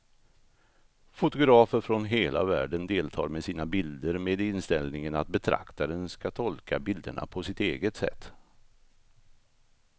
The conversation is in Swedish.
Fotografer från hela världen deltar med sina bilder med inställningen att betraktaren ska tolka bilderna på sitt eget sätt.